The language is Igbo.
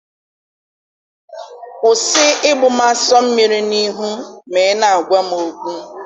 Kwụsị ịgbụ m aso mmiri n'ịhụ mà ị na-agwa m okwu.